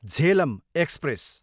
Jhelum express